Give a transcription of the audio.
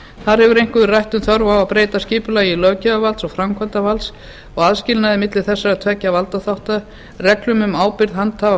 þar hefur einkum verið rætt um þörf á að breyta skipulagi löggjafarvalds og framkvæmdarvalds og aðskilnaði milli þessara tveggja valdþátta reglum um ábyrgð handhafa